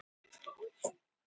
Ökumaður slapp með skrekkinn